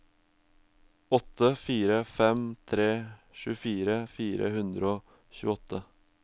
åtte fire fem tre tjuefire fire hundre og tjueåtte